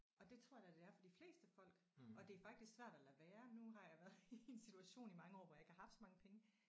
Og det tror jeg da det er for de fleste folk og det er faktisk svært at lade være. Nu har jeg været i en situation i mange år hvor jeg ikke har haft så mange penge